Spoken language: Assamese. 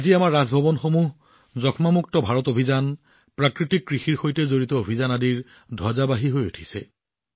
আজি আমাৰ ৰাজভৱন যক্ষ্মামুক্ত ভাৰত অভিযান প্ৰাকৃতিক কৃষিৰ সৈতে জড়িত অভিযানৰ ধ্বজাবাহী হৈ পৰিছে